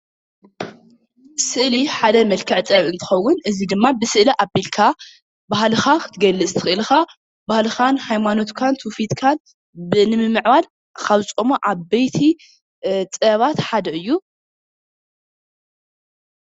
ስእሊ ሓደ መልክዕ ጥበብ እንትኸውን እዚ ድማ ብስእሊ ኣቢልካ ባህልኻ ክትገልፅ ትኽእል ኢኻ። ባህልኻን ሃይማኖትካን ትውፊትካን ንምምዕባል ካብ ዝጠቅሙ ዓበይቲ ጥበባት ሓደ ስእሊ እዩ።